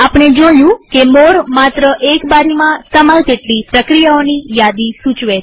આપણે જોયું કે મોરે માત્ર એક બારીમાં સમાય તેટલી પ્રક્રિયાઓની યાદી સૂચવે છે